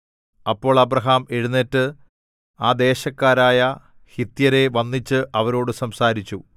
അപ്പോൾ അബ്രാഹാം എഴുന്നേറ്റ് ആ ദേശക്കാരായ ഹിത്യരെ വന്ദിച്ച് അവരോട് സംസാരിച്ചു